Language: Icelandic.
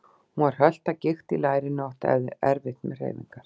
Hún var hölt af gikt í lærinu og átti erfitt með hreyfingar.